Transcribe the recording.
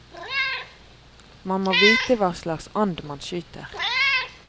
Man må vite hva slags and man skyter.